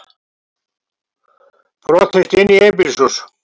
Brotist inn í einbýlishús